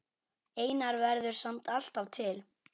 Einar verður samt alltaf til.